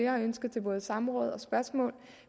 har ønsket til både samråd og spørgsmål